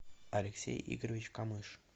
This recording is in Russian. алексей игоревич камыш